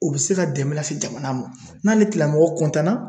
U be se ka dɛmɛ lase jamana ma. N'ale tigilamɔgɔ